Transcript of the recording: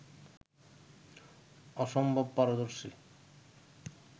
অসম্ভব পারদর্শী